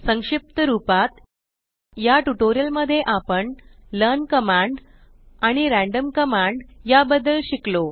संक्षिप्त रूपात या ट्यूटोरियल मध्ये आपण लर्न कमांड आणि रॅन्डम कमांड या बदद्ल शिकलो